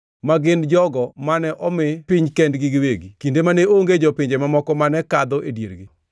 ma gin jogo mane omi piny kendgi giwegi kinde mane onge jopinje mamoko mane kadho e diergi.